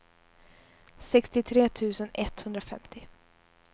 sextiotre tusen etthundrafemtio